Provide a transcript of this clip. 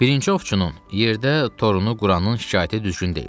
Birinci ovçunun yerdə torunu quranın şikayəti düzgün deyil.